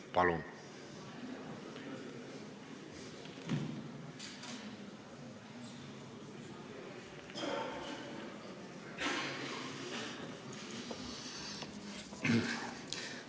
Palun!